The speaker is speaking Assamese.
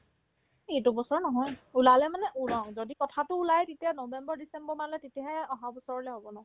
এই এইটো বছৰত নহয় ওলালে মানে ওলং যদি কথাতো ওলাই তেতিয়া november-december মানলে তেতিয়াহে অহাবছৰলে হ'ব ন